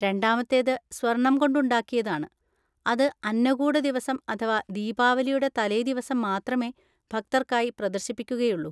രണ്ടാമത്തേത് സ്വർണം കൊണ്ട് ഉണ്ടാക്കിയതാണ്, അത് അന്നകൂടദിവസം അഥവാ ദീപാവലിയുടെ തലേദിവസം മാത്രമേ ഭക്തർക്കായി പ്രദർശിപ്പിക്കുകയുള്ളു.